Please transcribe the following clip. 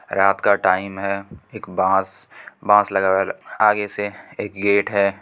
रात का टाइम है एक बांस एक बांस लगावल आगे से एक गेट है।